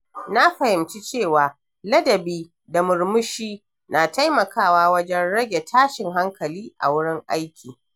Na fahimci cewa ladabi da murmushi na taimakawa wajen rage tashin hankali a wurin aiki.